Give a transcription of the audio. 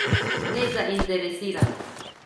Nezainteresiran!